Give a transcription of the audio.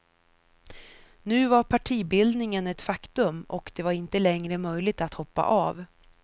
Nu var partibildningen ett faktum, och det var inte längre möjligt att hoppa av.